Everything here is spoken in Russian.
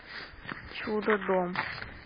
чудодом